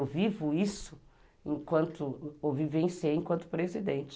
Eu vivo isso, enquanto, ou vivenciei enquanto presidente.